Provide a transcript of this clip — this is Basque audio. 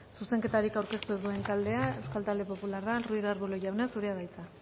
zuzenketarik aurkeztu ez duen taldea euskal talde popularra ruiz de arbulo jauna zurea da hitza